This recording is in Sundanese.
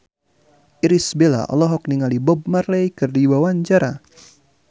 Irish Bella olohok ningali Bob Marley keur diwawancara